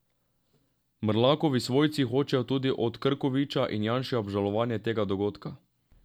Mrlakovi svojci hočejo tudi od Krkoviča in Janše obžalovanje tega dogodka.